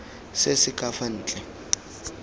se se ka fa ntle